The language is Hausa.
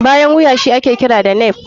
Bayan wuya shi ake kira da nape.